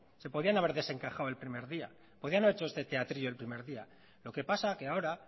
se podían haber desencajado el primer día podrían haber hecho este teatrillo el primer día lo que pasa que ahora